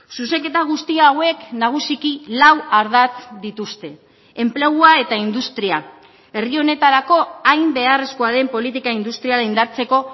zuzenketa guzti hauek nagusiki lau ardatz dituzte enplegua eta industria herri honetarako hain beharrezkoa den politika industriala indartzeko